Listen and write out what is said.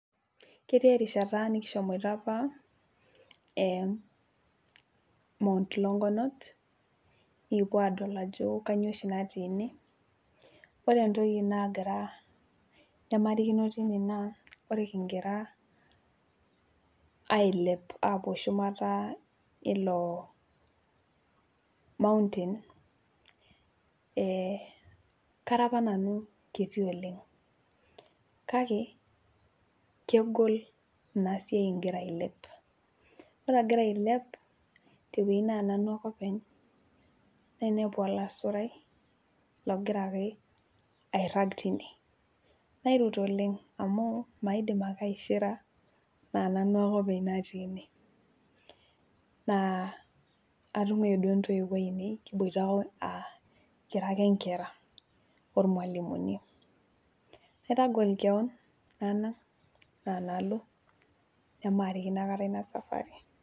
Ketii erishata nikishomoito apa ee my longonot. nikipuo aadol ajo kainyioo oshi natii ine. ore entoki nagira, nemarikino tine naa ore kigira ailepie aapuo shumata, eilo mountain ee Kara apa nanu kiti oleng. kake kegol Ina siai igira ailepie. ore agira ailep te wueji naa nanu ake openly. nainepu olasurai logira ake airag tine. nairut oleng. amu maidim ake aishira, naa nanu ake openly natii ine. Naa atunguayie duo ntoiwuo ainei. kiboita oo aa kira ake nkera .ormualimuni. naitagol kewon nalo nemarikino aikata Ina safari.